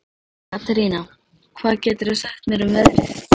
Katerína, hvað geturðu sagt mér um veðrið?